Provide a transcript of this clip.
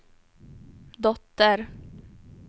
dotter